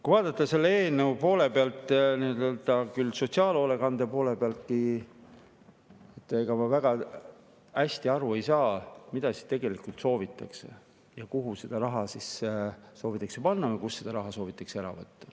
Kui vaadata seda eelnõu sotsiaalhoolekande poole pealt, siis ega ma väga hästi aru ei saa, mida siis tegelikult soovitakse, kuhu raha soovitakse panna või kust raha soovitakse ära võtta.